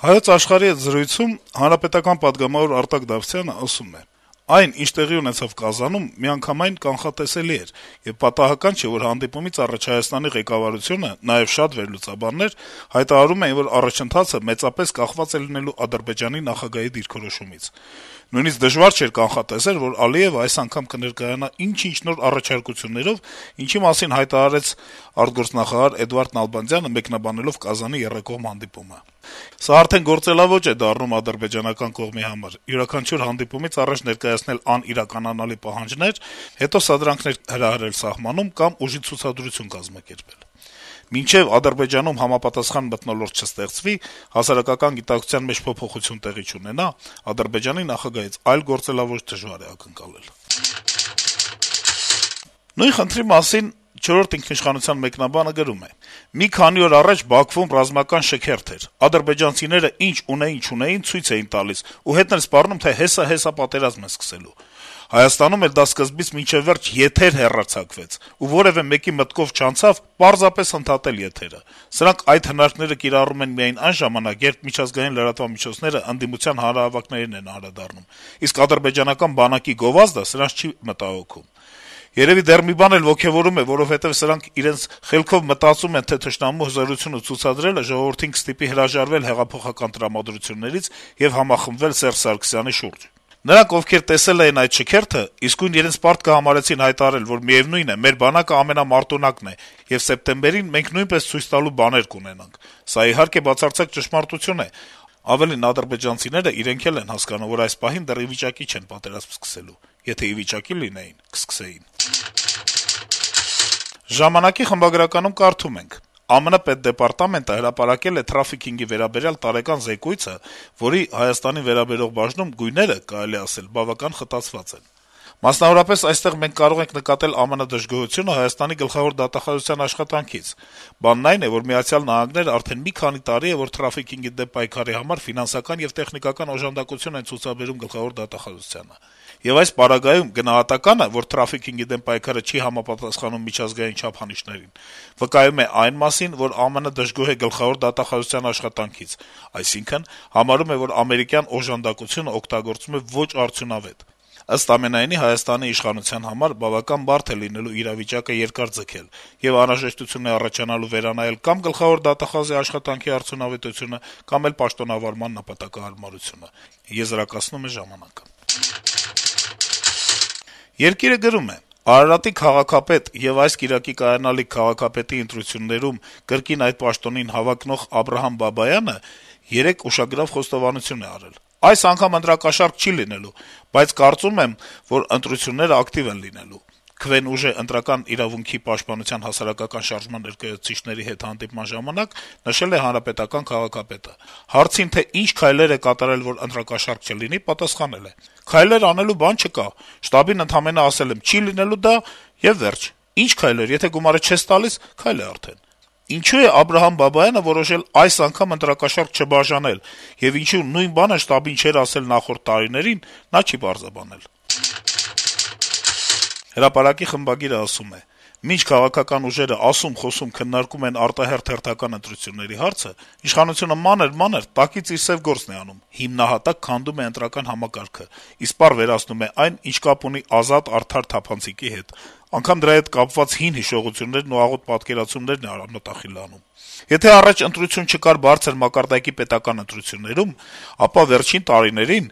«Հայոց Աշխարհ»-ի հետ զրույցում պատգամավոր Արտակ Դավթյանը (ՀՀԿ) ասում է. -« Այն, ինչ տեղի ունեցավ Կազանում, միանգամայն կանխատեսելի էր, եւ պատահական չէ, որ հանդիպումից առաջ Հայաստանի ղեկավարությունը, նաեւ շատ վերլուծաբաններ, հայտարարում էին, որ առաջընթացը մեծապես կախված է լինելու Ադրբեջանի նախագահի դիրքորոշումից։ Նույնիսկ դժվար չէր կանխատեսել, որ Ալիեւն այս անգամ էլ կներկայանա ինչ-ինչ նոր առաջարկություններով, ինչի մասին հայտարարեց արտգործնախարար Էդվարդ Նալբանդյանը` մեկնաբանելով Կազանի եռակողմ հանդիպումը։ Սա արդեն գործելաոճ է դառնում ադրբեջանական կողմի համար. յուրաքանչյուր հանդիպումից առաջ ներկայացնել անիրականանալի պահանջներ, հետո սադրանքներ հրահրել սահմանում կամ ուժի ցուցադրություն կազմակերպել… Մինչեւ Ադրբեջանում համապատասխան մթնոլորտ չստեղծվի, հասարակական գիտակցության մեջ փոփոխություն տեղի չունենա, Ադրբեջանի նախագահից այլ գործելաոճ դժվար է ակնկալել»։ Նույն խնդրի մասին «Չորրորդ ինքիշխանության» մեկնաբանը գրում է. - «Մի քանի օր առաջ Բաքվում ռազմական շքերթ էր: Ադրբեջանցիները ինչ ունեին-չունեին` ցույց էին տալիս եւ հետն էլ սպառնում, թե «հեսա-հեսա» պատերազմ են սկսելու: Հայաստանում էլ դա սկզբից մինչեւ վերջ եթեր հեռարձակվեց, ու որեւէ մեկի մտքով չանցավ պարզապես ընդհատել եթերը: Սրանք այդ հնարքները կիրառում են միայն այն ժամանակ, երբ միջազգային լրատվամիջոցները ընդդիմության հանրահավաքներին են անդրադառնում, իսկ ադրբեջանական բանակի գովազդը սրանց չի մտահոգում: Երեւի դեռ մի բան էլ ոգեւորում է, որովհետեւ սրանք իրենց խելքով մտածում են, թե թշնամու հզորությունը ցուցադրելը ժողովրդին կստիպի հրաժարվել հեղափոխական տրամադրություններից եւ «համախմբվել Սերժ Սարգսյանի շուրջը»: Նրանք, ովքեր տեսել էին այդ շքերթը, իսկույն իրենց պարտքը համարեցին հայտարարել, որ միեւնույն է` մեր բանակը ամենամարտունակն է, եւ սեպտեմբերին մենք նույնպես ցույց տալու բաներ կունենանք: Սա, իհարկե, բացարձակ ճշմարտություն է: Ավելին` ադրբեջանցիները իրենք էլ են հասկանում, որ այս պահին դեռ ի վիճակի չեն պատերազմ սկսել: Եթե ի վիճակի լինեին` կսկսեին»: «Ժամանակ»-ի խմբագրականում կարդում ենք. - «ԱՄՆ պետդեպարտամենտը հրապարակել է թրաֆիքինգի վերաբերյալ տարեկան զեկույցը, որի Հայաստանին վերաբերող բաժնում գույները, կարելի է ասել, բավական խտացված են: Մասնավորապես, այստեղ մենք կարող ենք նկատել ԱՄՆ-ի դժգոհությունը Հայաստանի գլխավոր դատախազության աշխատանքից: Բանն այն է, որ Միացյալ Նահանգները արդեն մի քանի տարի է, որ թրաֆիքինգի համար ֆինանսական եւ տեխնիկական օժանդակություն են ցուցաբերում Գլխավոր դատախազությանը: Եվ այս պարագայում գնահատականը, որ թրաֆիքինգի դեմ պայքարը չի համապատասխանում միջազգային չափանիշներին, վկայում է այն մասին, որ ԱՄՆ-ը դժգոհ է Գլխավոր դատախազության աշխատանքից: Այսինքն` համարում է, որ ամերիկյան օժանդակությունը օգտագործվում է ոչ արդյունավետ: Ըստ ամենայնի, Հայաստանի իշխանության համար բավական բարդ է լինելու իրավիճակը երկար ձգել, եւ անհրաժեշտություն է առաջանալու վերանայել կա'մ գլխավոր դատախազի աշխատանքի արդյունավետությունը, կա'մ էլ պաշտոնավարման նպատակահարմարությունը»: «Երկիր»-ը գրում է. - «Արարատի քաղաքապետի այս կիրակի կայանալիք քաղաքապետի ընտրություններում կրկին այդ պաշտոնին հավակնող Աբրահամ Բաբայանը երեկ ուշագրավ խոստովանություն է արել: «Այս անգամ ընտրակաշառք չի լինելու, բայց կարծում եմ, որ ընտրությունները ակտիվ են լինելու», - «Քվեն ուժ է» ընտրական իրավունքի պաշտպանության հասարակական շարժման ներկայացուցիչների հետ հանդիպման ժամանակ նշել է հանրապետական քաղաքապետը: Հարցին, թե ինչ քայլեր է կատարել, որ ընտրակաշառք չլինի, պատասխանել է. - «Քայլեր անելու բան չկա: Շտաբին ընդամենը ասել եմ` չի լինելու դա, եւ վերջ: Ի՞նչ քայլեր, եթե գումարը չես տալիս, քայլ է արդեն»: Ինչո՞ւ է Աբրահամ Բաբայանը որոշել այս անգամ ընտրակաշառք չբաժանել եւ կամ ինչու նույն բանը շտաբին չէր ասել նախորդ տարիներին, չի պարզաբանել»: «Հրապարակ»-ի խմբագիրը ասում է. - «Մինչ քաղաքական ուժերը ասում-խոսում-քննարկում են արտահերթ-հերթական ընտրությունների հարցը, իշխանությունը մանր-մանր, տակից իր սեւ գործն է անում. հիմնահատակ քանդում է ընտրական համակարգը, իսպառ վերացնում այն, ինչը կապ ունի ազատ-արդար-թափանցիկի հետ, անգամ դրա հետ կապված հին հիշողություններն ու աղոտ պատկերացումներն է արմատախիլ անում: Եթե առաջ ընտրություն չկար բարձր մակարդակի պետական ընտրություններում, ապա վերջին տարիներին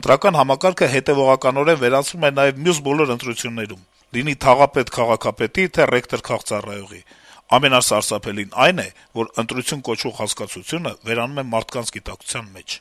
ընտրական համակարգը հետեւողականորեն վերացվում է նաեւ մյուս բոլոր ընտրություններում՝ լինի թաղապետ-քաղաքապետի, թե ռեկտոր-քաղծառայողի: Ամենասարսափելին այն է, որ ընտրություն կոչվող հասկացությունը վերանում է մարդկանց գիտակցության մեջ»: